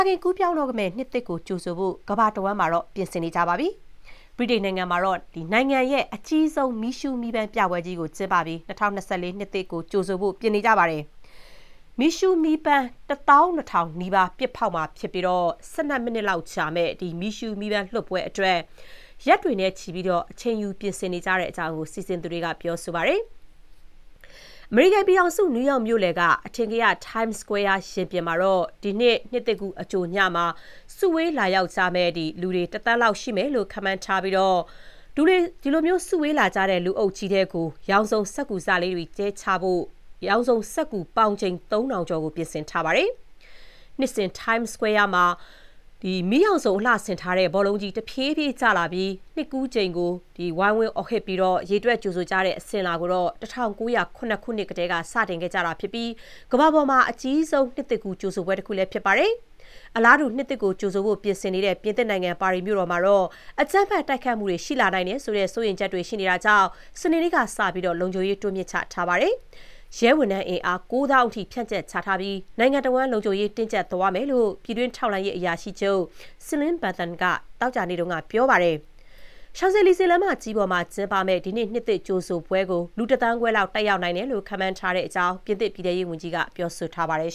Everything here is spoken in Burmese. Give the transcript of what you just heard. ခင် ကူးပြောင်းတော့မယ့် နှစ်သစ်ကိုကြိုဆိုဖို့ ကမ္ဘာတဝန်းမှာ ပြင်ဆင်နေကြပါပြီ ဗြိတိန်နိုင်ငံမှာတော့ နိုင်ငံမှာအကြီးဆုံး မီးရှူးမီးပန်းပြပွဲကြီးကျင်းပပြီး ၂၀၂၄ နှစ်သစ်ကို ကြိုဖို့ ပြင်နေပါတယ်။ မီးရှူးမီးပန်း ၁၂,၀၀၀ နီးပါး ပစ်ဖောက်မှာဖြစ်ပြီး ၁၂ မိနစ်လောက်ကြာမယ့် ဒီမီးရှူးမီးပန်းလွှတ်ပွဲအတွက် ရက်တွေနဲ့ချီ အချိန်ယူပြင်ဆင်နေတဲ့အကြောင်း စီစဥ်သူတွေက ပြောပါတယ်။ အမေရိကန်ပြည်ထောင်စု နယူးယောက်မြို့လယ်က အထင်ကရ Times Square ရင်ပြင်မှာတော့ ဒီနှစ် နှစ်သစ်ကူး အကြိုညမှာ စုဝေးလာရောက်ကြမယ့်သူ ၁ သန်းလောက်ရှိဖို့ ခန့်မှန်းထားပြီး ဒီလို စုဝေးကြတဲ့ လူအုပ်ကြီးထဲ ရောင်စုံစက္ကူစလေးတွေ ကြဲချဖို့ ရောင်စုံစက္ကူ ပေါင်ချိန် ၃,၀၀၀ ကျော် ပြင်ဆင်ထားပါတယ်။ နှစ်စဥ် Times Square မှာ မီးရောင်စုံ အလှဆင်ထားတဲ့ဘောလုံးကြီး တဖြည်းဖြည်း ကျလာပြီး နှစ်ကူးချိန်ကို ဝိုင်းဝန်းအော်ဟစ် ရေတွက် ကြိုဆိုကြတဲ့အစဥ်အလာကိုတော့ ၁၉၀၇ ခုနှစ်ကတည်းက စတင်ခဲ့တာဖြစ်ပြီး ကမ္ဘာပေါ်မှာအကြီးဆုံး နှစ်သစ်ကူးကြိုဆိုပွဲတခုလည်း ဖြစ်ပါတယ်။ အလားတူ နှစ်သစ်ကိုကြိုဆိုဖို့ပြင်ဆင်နေတဲ့ ပြင်သစ်နိုင်ငံ ပါရီမြို့တော်မှာတော့ အကြမ်းဖက်တိုက်ခိုက်မှုတွေရှိလာနိုင်တဲ့ စိုးရိမ်ချက်တွေရှိနေတာကြောင့် စနေနေ့ကစပြီး လုံခြုံရေးကို တိုးမြှင့်ချထားပါတယ်။ ရဲဝန်ထမ်းအင်အား ၉ သောင်းအထိ ဖြန့်ကျက်ချထားပြီး နိုင်ငံတဝန်း လုံခြုံရေး တင်းကျပ်သွားမယ့်အကြောင်း ပြည်တွင်း ထောက်လှမ်းရေးအရာရှိချုပ် Céline Berthon က သောကြာနေ့က ပြောဆိုခဲ့ပါတယ်။ Champs-Elysees လမ်းမကြီးပေါ်မှာ ကျင်းပတဲ့ ဒီနှစ် နှစ်သစ်ကြိုဆိုပွဲကို လူ ၁ သန်းခွဲကျော် တက်ရောက်နိုင်တယ်လို့ ခန့်မှန်းထားကြောင်း ပြင်သစ်ပြည်ထဲရေးဝန်ကြီးကလည်း ပြောဆိုထားပါတယ်